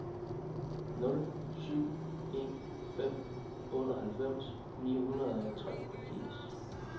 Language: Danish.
nul syv en fem otteoghalvfems ni hundrede og treogfirs